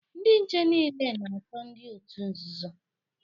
Ndị nche niile na-achọ ndị otu nzuzo